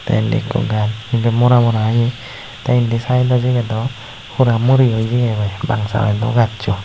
indi ekko gajch ebey mora mora oye te indi saido sibey do hora muroyo jeyegoi bang saido gaccho.